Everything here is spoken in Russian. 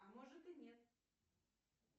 а может и нет